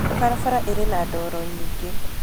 Barabara ĩrĩ na doro nyĩngĩ.